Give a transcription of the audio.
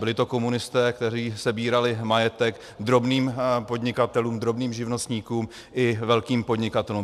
Byli to komunisté, kteří sebrali majetek drobným podnikatelům, drobným živnostníkům i velkým podnikatelům.